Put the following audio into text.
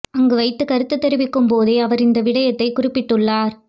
அங்கு வைத்து கருத்து தெரிவிக்கும் போதே அவர் இந்த விடயத்தை குறிப்பிட்டுள்ளார்